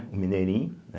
O mineirinho, né?